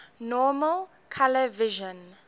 normal color vision